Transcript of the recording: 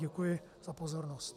Děkuji za pozornost.